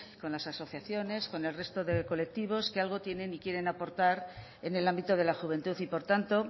con las asociaciones con el resto de colectivos que algo tienen y quieren aportar en el ámbito de la juventud y por tanto